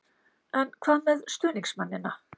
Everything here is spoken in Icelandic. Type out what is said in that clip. En hvað með stuðningsmennina?